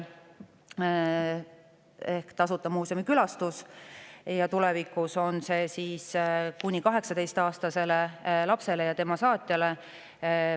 Tulevikus on riigimuuseumide tasuta kuni 18-aastasele lapsele ja tema saatjale.